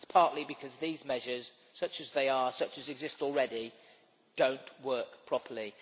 It is partly because these measures, such as they are, such as exist already, do not work properly.